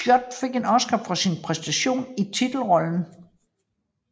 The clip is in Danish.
Scott fik en Oscar for sin præstation i titelrollen